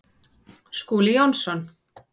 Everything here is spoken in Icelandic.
Skúli Jónsson